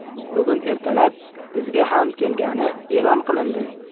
Bugun ertalab bizga ham kelgani e’lon qilindi!